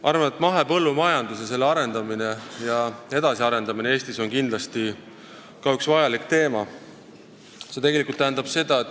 Arvan, et mahepõllumajandus ja selle arendamine Eestis on kindlasti vajalik teema.